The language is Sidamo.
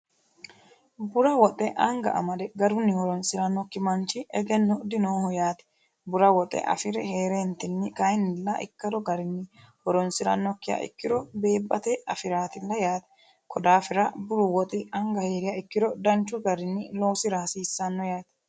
bura woxxe anga amade garunni horonsi'rannokki manchi egenno dinooho yaati bura woxxe afiri hee'reentinni kayinnilla ikkalo garinni horonsi'rannokkiha ikkiro beebbate afiraatill yaati kodaafira buru woxi anga hie'riya ikkiro danchu garinni loosira hasiissanno yaati